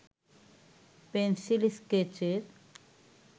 pencil স্কেচের